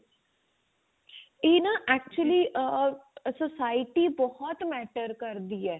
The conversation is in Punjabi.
ਇਹ ਨਾਂ actually ਆ society ਬਹੁਤ matter ਕਰਦੀ ਏ